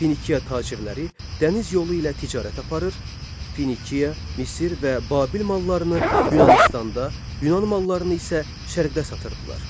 Finikiya tacirləri dəniz yolu ilə ticarət aparır, Finikiya, Misir və Babil mallarını Yunanıstanda, Yunan mallarını isə Şərqdə satırdılar.